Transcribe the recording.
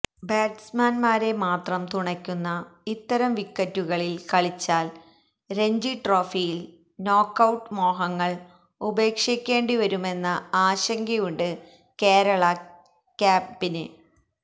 ബാറ്റ്സ്മാന്മാരെ മാത്രം തുണയ്ക്കുന്ന ഇത്തരം വിക്കറ്റുകളില് കളിച്ചാൽ രഞ്ജി ട്രോഫിയിൽ നോക്കൌട്ട് മോഹങ്ങള് ഉപേക്ഷിക്കേണ്ടിവരുമെന്ന ആശങ്കയുണ്ട് കേരള ക്യാംപിന്